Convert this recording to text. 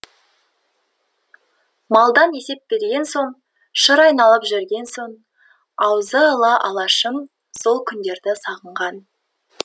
малдан есеп берген соң шыр айналып жүрген соң аузы ала алашым сол күндерді сағынған